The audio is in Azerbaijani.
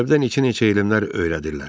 Məktəbdə neçə-neçə elmlər öyrədirlər.